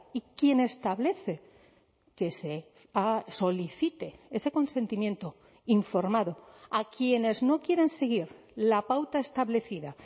y quien establece que se solicite ese consentimiento informado a quienes no quieren seguir la pauta establecida